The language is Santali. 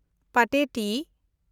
ᱯᱟᱴᱮᱴᱤ